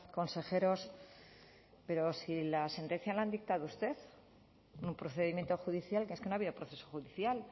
consejeros pero si la sentencia la ha dictado usted en un procedimiento judicial que es que no ha habido proceso judicial